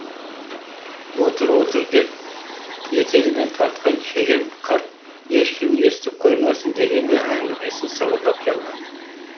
отыр отыр деп етегінен тартқан шеген қарт ешкім естіп қоймасын дегендей әңгімесін сыбырлап жалғады